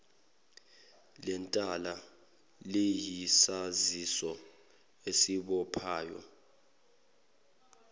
lentela liyisaziso esibophayo